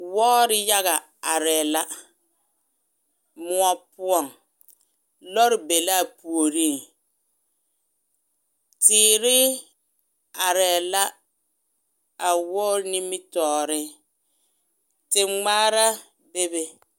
Wɔɔre yaga arɛɛ la moɔ poɔŋ lɔre be la a puoriŋ teere arɛɛ la a wɔɔre nimitɔɔre, te ŋmaara bebe.